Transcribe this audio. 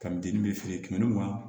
Ka dennin bɛ feere kɛmɛ ni mugan